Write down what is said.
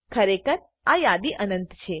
ખરેખર આ યાદી અનંત છે